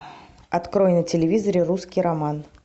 открой на телевизоре русский роман